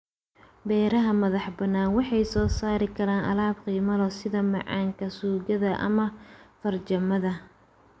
Beeraha madaxbannaan waxay soo saari karaan alaab qiimo leh sida macaanka, suugada ama farmaajada.